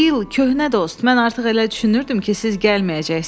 Bill, köhnə dost, mən artıq elə düşünürdüm ki, siz gəlməyəcəksiniz.